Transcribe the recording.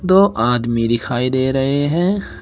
दो आदमी दिखाई दे रहे है।